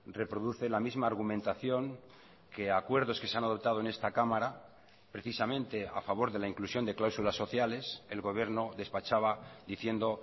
reproduce la misma argumentación que acuerdos que se han adoptado en esta cámara precisamente a favor de la inclusión de cláusulas sociales el gobierno despachaba diciendo